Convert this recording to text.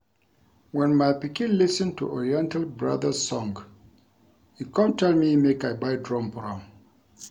Wen my pikin lis ten to Oriental brothers song e come tell me make I buy drum for am